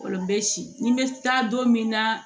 Olu bɛ si ni bɛ taa don min na